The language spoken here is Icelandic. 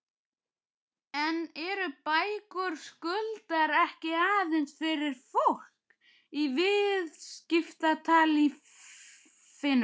En eru bækur Skuldar ekki aðeins fyrir fólk í viðskiptalífinu?